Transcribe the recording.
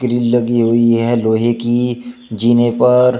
Grill लगी हुई है लोहे की जीने पर।